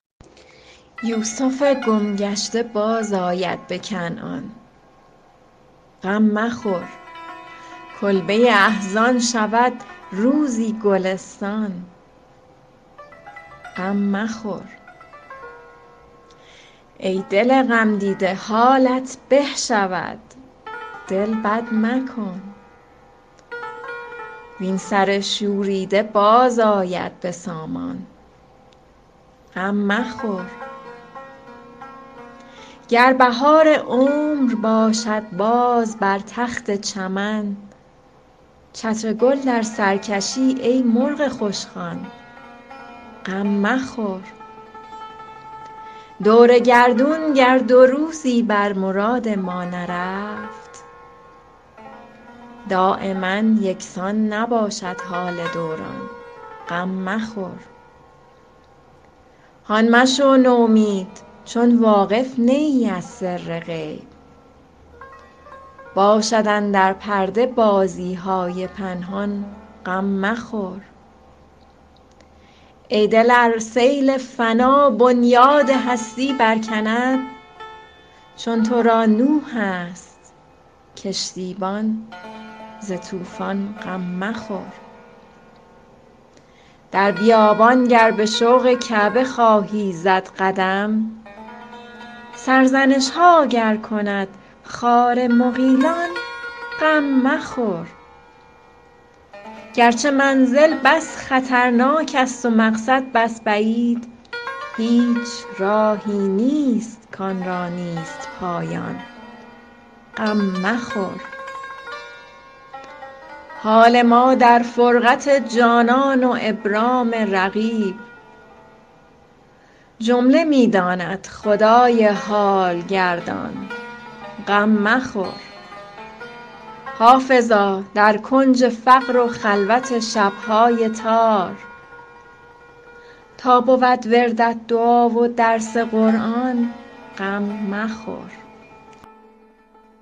یوسف گم گشته بازآید به کنعان غم مخور کلبه احزان شود روزی گلستان غم مخور ای دل غمدیده حالت به شود دل بد مکن وین سر شوریده باز آید به سامان غم مخور گر بهار عمر باشد باز بر تخت چمن چتر گل در سر کشی ای مرغ خوشخوان غم مخور دور گردون گر دو روزی بر مراد ما نرفت دایما یکسان نباشد حال دوران غم مخور هان مشو نومید چون واقف نه ای از سر غیب باشد اندر پرده بازی های پنهان غم مخور ای دل ار سیل فنا بنیاد هستی برکند چون تو را نوح است کشتیبان ز طوفان غم مخور در بیابان گر به شوق کعبه خواهی زد قدم سرزنش ها گر کند خار مغیلان غم مخور گرچه منزل بس خطرناک است و مقصد بس بعید هیچ راهی نیست کآن را نیست پایان غم مخور حال ما در فرقت جانان و ابرام رقیب جمله می داند خدای حال گردان غم مخور حافظا در کنج فقر و خلوت شب های تار تا بود وردت دعا و درس قرآن غم مخور